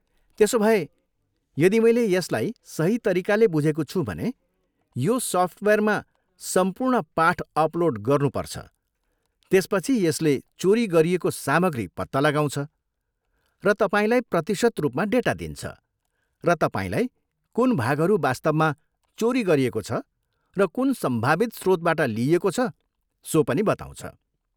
त्यसोभए, यदि मैले यसलाई सही तरिकाले बुझेको छु भने, यो सफ्टवेयरमा सम्पूर्ण पाठ अपलोड गर्नु पर्छ, त्यसपछि यसले चोरी गरिएको सामग्री पत्ता लगाउँछ र तपाईँलाई प्रतिशत रूपमा डेटा दिन्छ, र तपाईँलाई कुन भागहरू वास्तवमा चोरी गरिएको छ र कुन सम्भावित स्रोतबाट लिइएको छ सो पनि बताउँछ।